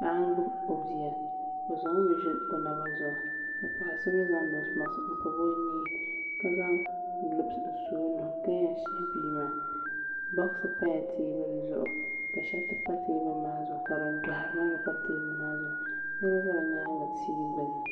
paɣa n gbubi o bia o zaŋɔ mi ʒili o naba zuɣu ka paɣa so mii zaŋ noos mask n pobi o nyee ka zaŋ gulovɛs n su o nuu ka yɛn shihi bia maa bokisi pala teebuli zuɣu ka shɛriti a teebuli maa zuɣu ka din doɣari maa gba pa teebuli maa zuɣu niraba ʒɛ bi nyaangi tia gbuni